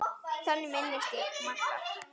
Þannig minnist ég Magga.